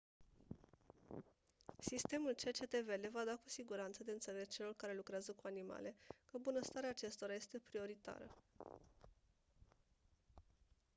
sistemul cctv le va da cu siguranță de înțeles celor care lucrează cu animale că bunăstarea acestora este prioritară